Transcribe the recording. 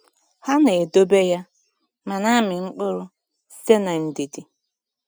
Ha na-edobe ya ma na-amị mkpụrụ site n’ndidi.